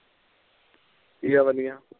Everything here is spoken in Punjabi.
ਵਧੀਆ ਵਧੀਆ